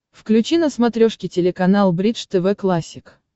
включи на смотрешке телеканал бридж тв классик